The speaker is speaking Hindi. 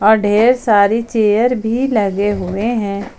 अ ढेर सारी चेयर भी लगे हुए हैं।